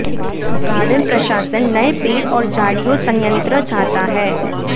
garden प्रशासन नए पेड़ और झाड़ियों संयंत्र चाहता है